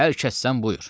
Hər kəssən buyur.